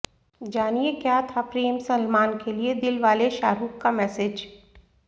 जानिए क्या था प्रेम सलमान के लिए दिलवाले शाहरूख का मेसेज